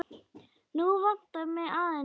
Nú vantar mig aðeins eitt!